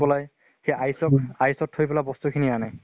পলাই সেই ice ত ice ত থৈ ফালে বস্তু খিনি আনে